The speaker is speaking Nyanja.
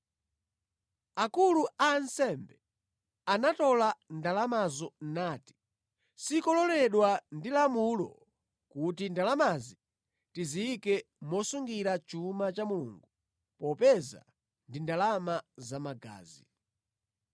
Akulu a ansembe anatola ndalamazo nati, “Sikololedwa ndi lamulo kuti ndalamazi tiziyike mosungira chuma cha Mulungu, popeza ndi ndalama za magazi.”